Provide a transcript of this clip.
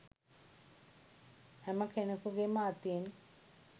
හැම කෙනෙකුගේම අතින්